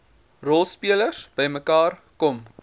rolspelers bymekaar kom